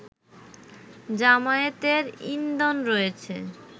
জামায়াতের ইন্ধন রয়েছে